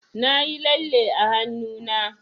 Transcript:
Nayi lalle a hannuna.